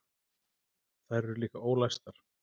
Þær eru líka ólæstar.